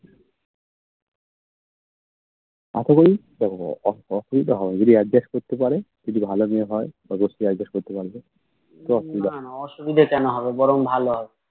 আশা করি অসুবিধা হবেনা যদি Adjust করতে পারে যদি ভালো মেয়ে হয় তবে সে Adjust করতে পারবে